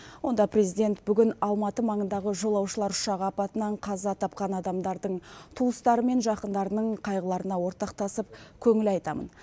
онда президент бүгін алматы маңындағы жолаушылар ұшағы апатынан қаза тапқан адамдардың туыстары мен жақындарының қайғыларына ортақтасып көңіл айтамын